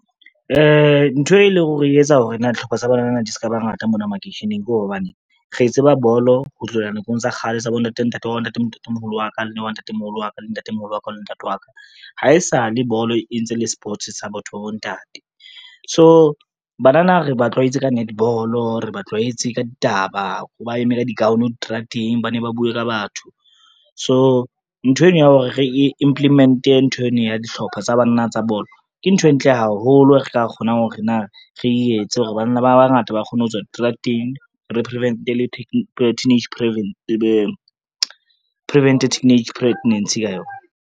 Ntho e leng hore e etsa hore na ditlhoko tsa banana di ska bangata mona makeisheneng ko hobane, re tseba bolo ho tlohela nakong tsa kgale tsa bontate ntate wa bo ntate le ntatemoholo wa ka le wa ntatemoholo wa ka le ntatemoholo wa ka le ntate wa ka. Ha e sale bolo, e ntse le sports sa botho ba bontate, so banana re ba tlwaetse ka netball, re ba tlwaetse ka ditaba, ba eme ka di-gown diterateng ba ne ba bue ka batho. So ntho eno ya hore re e implement-e ntho eno ya dihlopha tsa banana tsa bolo ke ntho e ntle haholo re ka kgonang hore na re etse hore, banana ba bangata ba kgone ho tswa diterateng prevent-e teenage pregnancy ka yona.